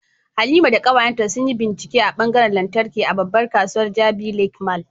Halima da kawayenta sun yi bincike a ɓangaren lantarki a babbar kasuwar Jabi Lake Mall